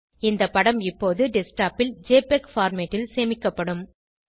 இந்த படம் இப்போது டெஸ்க்டாப் ல் ஜெபிஇஜி பார்மேட் ல் சேமிக்கப்படும்